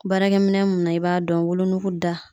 Baarakɛ minɛn mun na i b'a dɔn wolonugu da